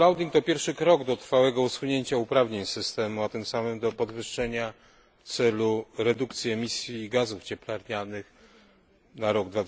to pierwszy krok do trwałego usunięcia uprawnień systemu, a tym samym do podwyższenia celu redukcji emisji gazów cieplarnianych na rok